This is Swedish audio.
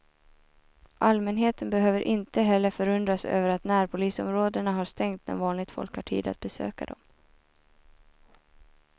Allmänheten behöver inte heller förundras över att närpolisområdena har stängt när vanligt folk har tid att besöka dem.